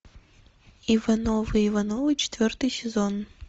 ивановы ивановы четвертый сезон